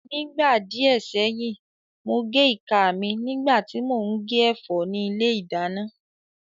Nígbà díẹ̀ sẹ́yìn, mo gé ìka mi nígbà tí mò ń gé ẹ̀fọ́ ní ilé ìdáná